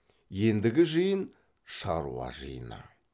ендігі жиын шаруа жиыны